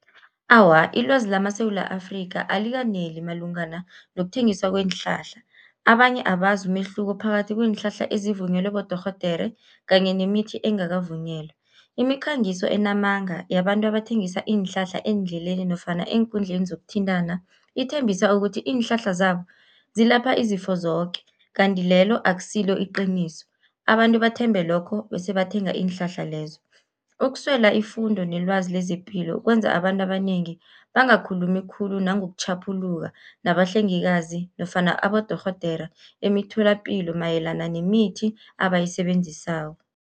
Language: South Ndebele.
Awa, ilwazi lamaSewula Afrikha, alikaneli malungana nokuthengiswa kweenhlahla, abanye abazi umehluko phakathi kweenhlahla ezivunyelwe bodorhodere kanye nemithi engakavunyelwa. Imikhangiso enamanga yabantu abathengisa iinhlahla eendleleni nofana eenkundleni zokuthintana, ithembisa ukuthi iinhlahla zabo zilapha izifo zoke kanti lelo akusilo iqiniso, abantu bathembe lokho bese bathenga iinhlahla lezo. Ukuswela ifundo nelwazi lezepilo kwenza abantu abanengi bangakhulumi khulu, nangokutjhaphuluka nabahlengikazi nofana abodorhodere emitholapilo mayelana nemithi abayisebenzisako.